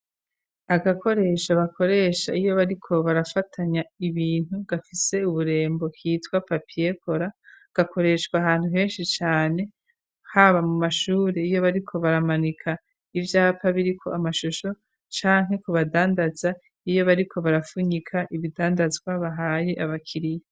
agakoresho bakoresha iyo bariko barafatanya ibintu gafise uburembo kitwa papiyekora, gakoreshwa ahantu henshi cane haba mu mashuri iyo bariko baramanika ivyapa biriko amashusho canke ku badandaza iyo bariko barafunyika ibidandazwa bahaye abakiriya.